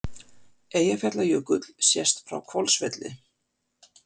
Eyjafjallajökull sést frá Hvolsvelli.